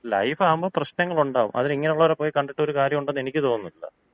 Life ആകുമ്പോ പ്രശ്നങ്ങളുണ്ടാകുംഅതിന് ഇങ്ങനൊള്ളവരെ പോയി കണ്ടിട്ട് ഒരു കാര്യമുണ്ടെന്ന് എനിക്ക് തോന്നുന്നില്ല.